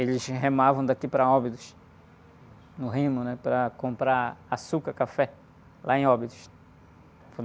eles remavam daqui para, no remo, né? Para comprar açúcar, café, lá em.